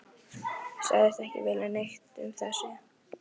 Sagðist ekki vilja neitt um það segja.